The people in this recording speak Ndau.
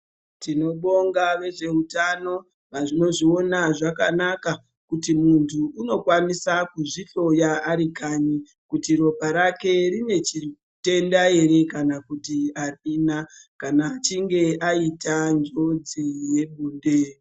Tinobonga vezveutano vanozviona zvakanaka kuti muntu unokwanisa kuzvihloya ari kanyi kuti ropa rake rinechitenda ere kana kuti arina kana achinge aita njodzi yebonde.